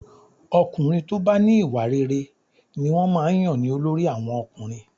Ọkùnrin tó bá ní ìwà rere ni wọ́n máa ń yàn ní olórí àwọn ọkùnrin